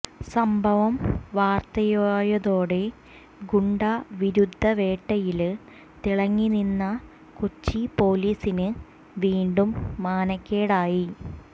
സംഭവം വാര്ത്തയായതോടെ ഗുണ്ടാ വിരുദ്ധ വേട്ടയില് തിളങ്ങിനിന്ന കൊച്ചി പോലീസിന് വീണ്ടും മാനക്കേടായി